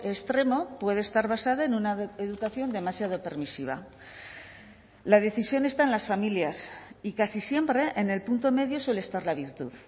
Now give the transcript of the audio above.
extremo puede estar basada en una educación demasiado permisiva la decisión está en las familias y casi siempre en el punto medio suele estar la virtud